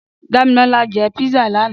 Damilola jè pizza làná